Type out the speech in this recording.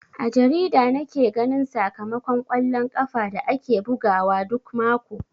A jarida nake ganin sakamakon kwallon ƙafa da ake bugawa duk mako.